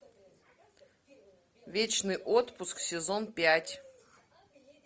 вечный отпуск сезон пять